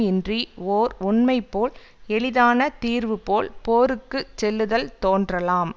இன்றி ஓர் உண்மை போல் எளிதான தீர்வு போல் போருக்கு செல்லுதல் தோன்றலாம்